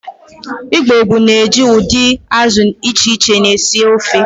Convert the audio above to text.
Igbo gboo na-eji udidi azụ di iche iche esi ofe.